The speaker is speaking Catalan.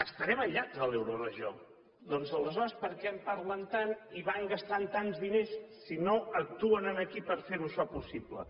estarem aïllats de l’euroregió doncs aleshores per què en parlen tant i van gastant tants diners si no actuen aquí per fer això possible